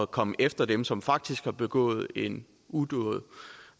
komme efter dem som faktisk har begået en udåd